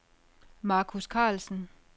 Marcus Carlsen